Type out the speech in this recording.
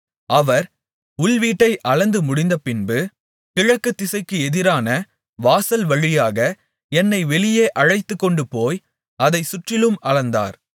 அவர் உள்வீட்டை அளந்து முடிந்தபின்பு கிழக்கு திசைக்கு எதிரான வாசல்வழியாக என்னை வெளியே அழைத்துக்கொண்டுபோய் அதைச் சுற்றிலும் அளந்தார்